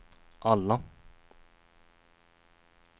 alla